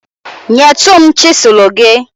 nyetụ m chịsụlụ gị.